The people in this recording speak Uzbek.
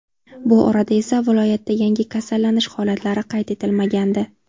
Bu orada esa viloyatda yangi kasallanish holatlari qayd etilmagandi.